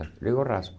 Eu digo, raspo.